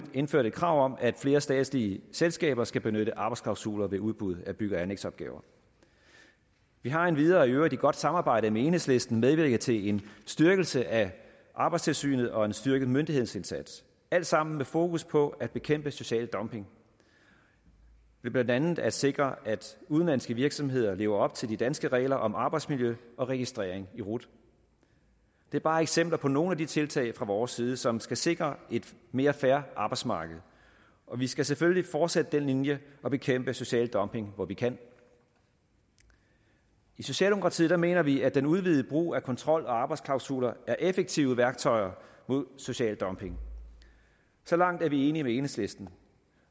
indført et krav om at flere statslige selskaber skal benytte arbejdsklausuler ved udbud af bygge og anlægsopgaver vi har endvidere i øvrigt i et godt samarbejde med enhedslisten medvirket til en styrkelse af arbejdstilsynet og en styrket myndighedsindsats det alt sammen med fokus på at bekæmpe social dumping ved blandt andet at sikre at udenlandske virksomheder lever op til de danske regler om arbejdsmiljø og registrering i rut det er bare eksempler på nogle af de tiltag fra vores side som skal sikre et mere fair arbejdsmarked og vi skal selvfølgelig fortsætte den linje og bekæmpe social dumping hvor vi kan i socialdemokratiet mener vi at den udvidede brug af kontrol og arbejdsklausuler er effektive værktøjer mod social dumping så langt er vi enige med enhedslisten